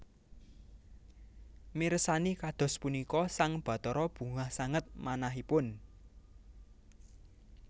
Mirsani kados punika sang Bathara bungah sanget manahipun